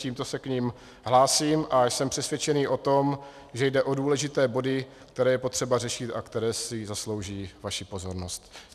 Tímto se k nim hlásím a jsem přesvědčený o tom, že jde o důležité body, které je potřeba řešit a které si zaslouží vaši pozornost.